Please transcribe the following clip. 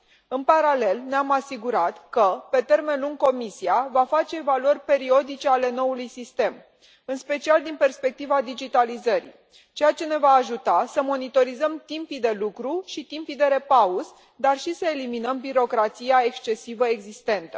În paralel, ne am asigurat că, pe termen lung, Comisia va face evaluări periodice ale noului sistem, în special din perspectiva digitalizării, ceea ce ne va ajuta să monitorizăm timpii de lucru și timpii de repaos, dar și să eliminăm birocrația excesivă existentă.